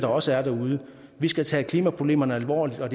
også er derude vi skal tage klimaproblemerne alvorligt og